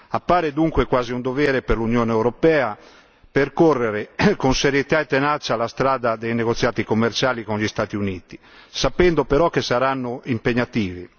Appare dunque quasi un dovere per l'Unione europea percorrere con serietà e tenacia la strada dei negoziati commerciali con gli Stati Uniti, sapendo però che saranno impegnativi.